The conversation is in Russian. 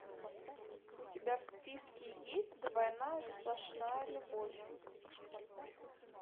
у тебя в списке есть двойная сплошная любовь